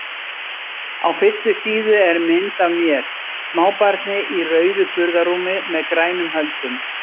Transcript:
Á fyrstu síðu er mynd af mér, smábarni í rauðu burðarrúmi með grænum höldum.